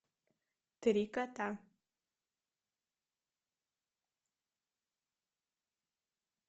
три кота